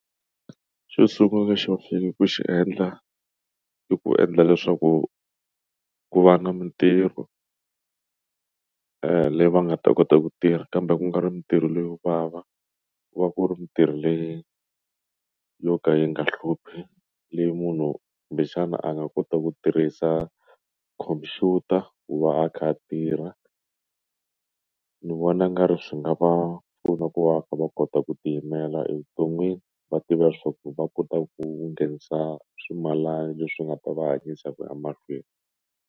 Xo sungula xo faneke ku xi endla i ku endla leswaku ku va na mintirho leyi va nga ta kota ku tirha kambe ku nga ri mintirho leyo vava ku va ku ri mintirho leyi yo ka yi nga hluphi leyi munhu kumbexana a nga kota ku tirhisa computer ku va a kha a tirha ndzi vona ngari swi nga va pfuna ku va kha va kota ku ti yimela evuton'wini va tiva leswaku va kota ku nghenisa swimalana leswi nga ta va hanyisa ku ya mahlweni.